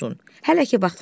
Hələ ki vaxt var.